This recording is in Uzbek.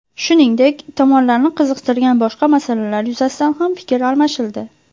Shuningdek, tomonlarni qiziqtirgan boshqa masalalar yuzasidan ham fikr almashildi.